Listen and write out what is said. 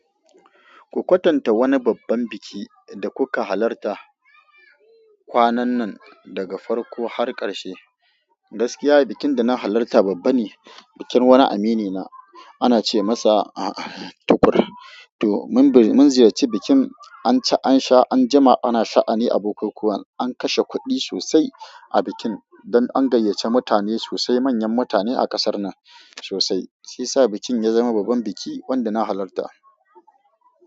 Ku kwatanta wani babban biki da kuka halarta kwanan nan daga farko har ƙarshe. Gaskiya bikin da na halarta babba ne, bikin wani aminina ana ce masa Tukur. To mun ziyarci bikin, an ci, an sha, an jima, ana sha'ani abokai kuwa an kashe kuɗi sosai a bikin don an gayyace mutane sosai, manyan mutane a kasar nan sosai. Shiyasa bikin ya zama babban biki wanda na halarta.